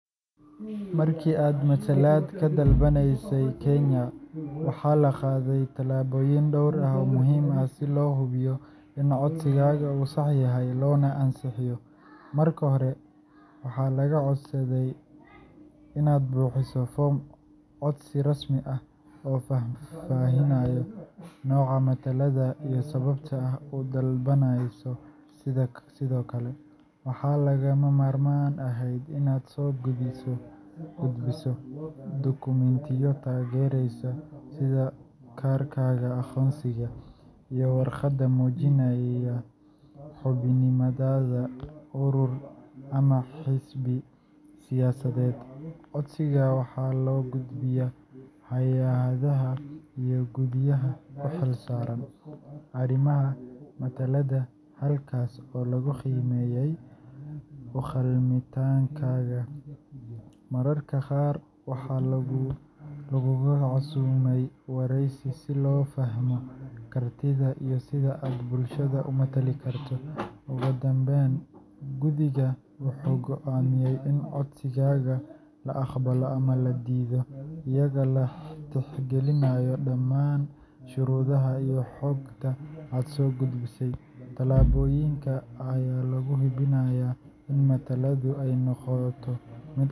Markii aad matalaad ka dalbanaysay Kenya, waxaa la qaaday tallaabooyin dhowr ah si codsigaaga loo ansixiyo loona hubiyo in aad u qalanto matalaadda. Tallaabooyinkaas waxaa ka mid ah: Diiwaangelin rasmi ah – Waxaa la buuxiyaa foom codsi rasmi ah oo muujinaya sababta aad u dalbanayso matalaadda iyo halka aad rabto in lagaa matalo tusaale, isbahaysi siyaasadeed, urur dhalinyaro, ama haweenSoo gudbinta dukumeenti taageeraya – Waxaa la keenaa dukumeenti sida kaarka aqoonsiga, warqad caddeyneysa xubinnimadaada urur ama xisbi, iyo markhaatiyaal ama taageero laga helay dad ama hay’ado kaleGudbinta codsiga hay’adaha ay khusayso – Codsiga waxaa loo gudbiyaa guddiga doorashooyinka ama hay’adda u xilsaaran matalaadda si ay u eegaan shuruudaha iyo u-qalmitaanka codsadaha. La kulanka guddiga ama wareysi – Mararka qaar, codsadaha waxaa lagu casuumaa in uu ka qeyb galo wareysi si loo fahmo ujeedkiisa, kartidiisa, iyo sida uu uga matali karo bulshada si daacadnimo leh. Sugidda oggolaanshaha – Marka la dhammeeyo baaritaanka, guddiga ayaa go’Markii aad matalaad ka dalbanaysay Kenya, waxaa la qaaday tallaabooyin dhowr ah oo muhiim ah si loo hubiyo in codsigaaga uu sax yahay loona ansixiyo. Marka hore, waxaa lagaa codsaday inaad buuxiso foom codsi rasmi ah oo faahfaahinaya nooca matalaadda iyo sababta aad u dalbanayso. Sidoo kale, waxaa lagama maarmaan ahayd inaad soo gudbiso dukumiintiyo taageeraya sida kaarkaaga aqoonsiga iyo warqado muujinaya xubinnimadaada urur ama xisbi siyaasadeed. Codsigaaga waxaa loo gudbiyay hay’adaha iyo guddiyada u xilsaaran arrimaha matalaadda, halkaas oo lagu qiimeeyay u-qalmitaankaaga. Mararka qaar waxaa lagugu casuumay wareysi si loo fahmo kartidaada iyo sida aad bulshada u matali karto. Ugu dambeyn, guddigu wuxuu go’aamiyay in codsigaaga la aqbalo ama la diido, iyadoo la tixgelinayo dhammaan shuruudaha iyo xogta aad soo gudbisay. Tallaabooyinkan ayaa lagu hubinayay in matalaaddu ay noqoto mid.